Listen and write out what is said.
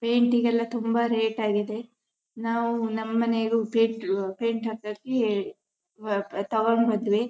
Painting ಎಲ್ಲ ತುಂಬಾ rate ಆಗಿದೆ ನಾವು ನಮ್ ಮನೆಗು ಪೇಂಟ್ ಪೇಂಟ್ ಹಾಕಕ್ಕೆ ತಗೊಂಡು ಬಂದ್ವಿ.